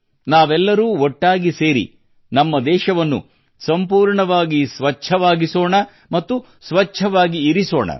ನಾವೆಲ್ಲರೂ ಒಟ್ಟಾಗಿ ಸೇರಿ ನಮ್ಮ ದೇಶವನ್ನು ಸಂಪೂರ್ಣವಾಗಿ ಸ್ವಚ್ಛವಾಗಿಸೋಣ ಮತ್ತು ಸ್ವಚ್ಛವಾಗಿ ಇರಿಸೋಣ